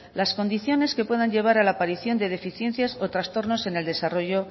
las condiciones que puedan llevar a la aparición de deficiencias o trastornos en el desarrollo